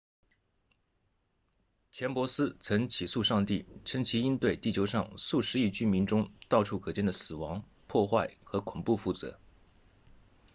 钱伯斯曾起诉上帝称其应对地球上数十亿居民中到处可见的死亡破坏和恐怖负责